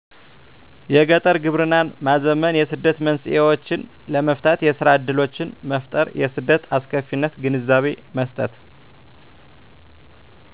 የገጠር ግብርናን ማዘመን የስደት መንስኤዎችን ለመፍታት የስራ እድሎችን መፍጠር የስደት አስከፊነት ግንዛቤ መስጠት